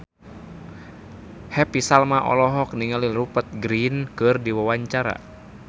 Happy Salma olohok ningali Rupert Grin keur diwawancara